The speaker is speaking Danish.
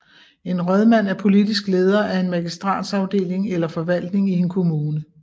En rådmand er politisk leder af en magistratsafdeling eller forvaltning i en kommune